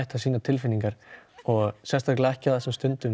að sýna tilfinningar og sérstaklega ekki á þessum stundum